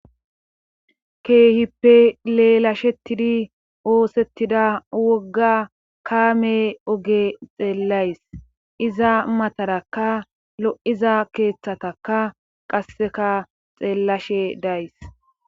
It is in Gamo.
keehippe leelashetidi oosettida wogga kaame oge xeellays iza matarakka lo7iza keeththataka qasseka xeellashe days